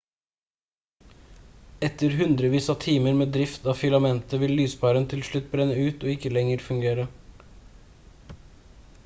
etter hundrevis av timer med drift av filamentet vil lyspæren til slutt brenne ut og ikke lenger fungere